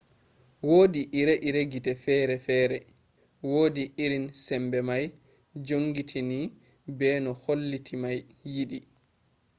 wodi ire-ire gite fere-fere wodi irin sembe mai jongitini be no halitta mai yidi